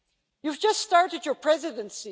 You have just started your Presidency.